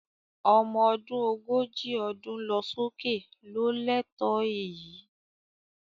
Ọmọ ọdún ogójì ọdún lọ sókè ló lẹ́tọ̀ọ́ èyí